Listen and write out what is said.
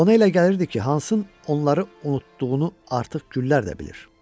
Ona elə gəlirdi ki, Hansın onları unutduğunu artıq güllər də bilir.